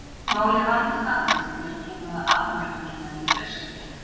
Málið vandast aðeins þegar kemur að afmörkun hennar í austri.